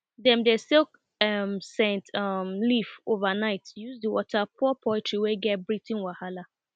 dem dey soak um scent um leaf overnight use the water pour poultry wey get breathing wahala